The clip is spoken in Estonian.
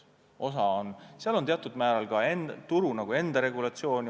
Samas on seal teatud määral mängus ka turu enda regulatsioon.